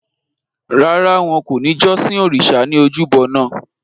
Rárá o, wọn kò ní jọ́sìn òrìṣa ní ojúbo naa